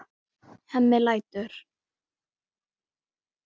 Hemmi lætur.